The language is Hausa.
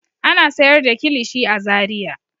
Ana sayar da kilishi a Zariya.